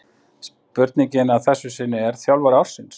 Spurningin að þessu sinni er: Þjálfari ársins?